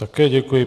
Také děkuji.